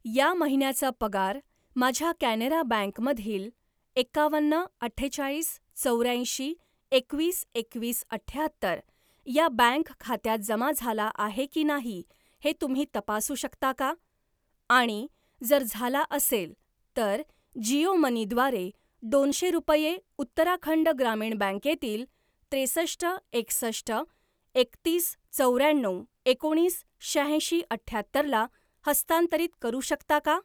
या महिन्याचा पगार माझ्या कॅनरा बँक मधील एकावन्न अठ्ठेचाळीस चौऱ्याऐंशी एकवीस एकवीस अठ्याहत्तर या बँक खात्यात जमा झाला आहे की नाही हे तुम्ही तपासू शकता का आणि जर झाला असेल, तर जिओ मनी द्वारे दोनशे रुपये उत्तराखंड ग्रामीण बँके तील त्रेसष्ट एकसष्ट एकतीस चौऱ्याण्णव एकोणीस शहाऐंशी अठ्याहत्तरला हस्तांतरित करू शकता का?